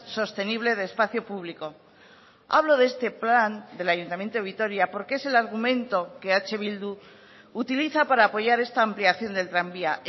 sostenible de espacio público hablo de este plan del ayuntamiento de vitoria porque es el argumento que eh bildu utiliza para apoyar esta ampliación del tranvía